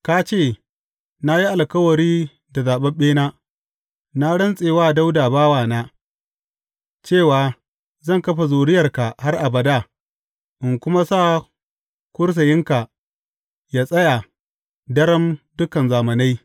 Ka ce, Na yi alkawari da zaɓaɓɓena, na rantse wa Dawuda bawana, cewa Zan kafa zuriyarka har abada in kuma sa kursiyinka yă tsaya daram dukan zamanai.’